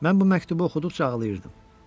Mən bu məktubu oxuduqca ağlayırdım.